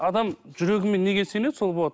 адам жүрегімен неге сенеді сол болады